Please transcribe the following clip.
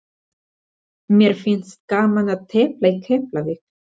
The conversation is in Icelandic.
Mér finnst gaman að tefla í Keflavík.